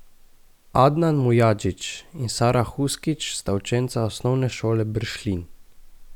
Adnan Mujadžić in Sara Huskić sta učenca Osnovne šole Bršljin.